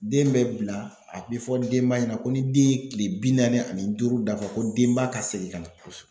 Den bɛ bila a bi fɔ denba ɲɛna ko ni den ye tile bi naani ani duuru dafa ko denba ka segin ka na. Kosɛ